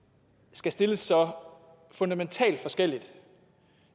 skal stilles så fundamentalt forskelligt